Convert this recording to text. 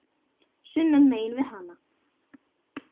sunnan megin við hana.